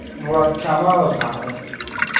Murat Kamalov haqida.